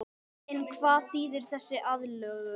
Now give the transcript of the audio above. En hvað þýðir þessi aðlögun?